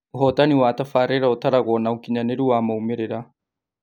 Ũhotani wa tafaarĩra ũtaragwo na ũkinyanĩru wa maumĩrĩra